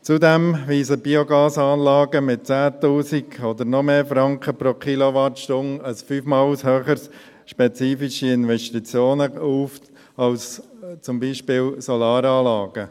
Zudem weisen Biogasanlagen mit 10’000 oder noch mehr Franken pro Kilowattstunde fünfmal höhere spezifische Investitionen auf als zum Beispiel Solaranlagen.